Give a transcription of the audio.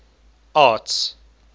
arts